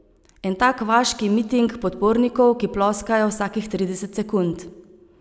En tak vaški miting podpornikov, ki ploskajo vsakih trideset sekund.